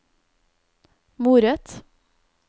moret